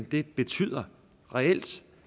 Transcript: det betyder reelt